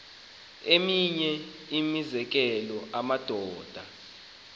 eminye imizekelo amadoda